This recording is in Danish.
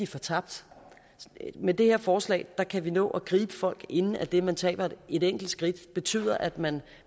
fortabt med det her forslag kan vi nå at gribe folk inden at det at man taber et enkelt skridt betyder at man